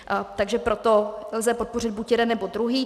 Takže proto lze podpořit buď jeden, nebo druhý.